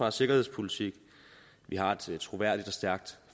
og sikkerhedspolitik at vi har et troværdigt og stærkt